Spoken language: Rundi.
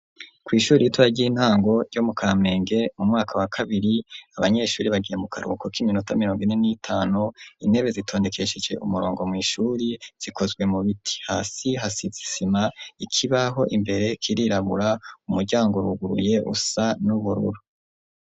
Kw'ishuri ritoya ry'intango ryo mu Kamenge mu mwaka wa kabiri abanyeshuri bagiye mu karuhuko k'iminota mirongo ine n'itanu, intebe zitondekesheje umurongo mw'ishuri zikozwe mu biti. Hasi hasize isima, ikibaho imbere kirirabura, umuryango uruguruye usa n'ubururu.